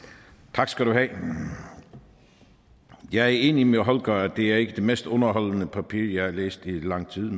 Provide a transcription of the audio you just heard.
tak skal du have jeg er enig med holger k nielsen det er ikke det mest underholdende papir jeg har læst i lang tid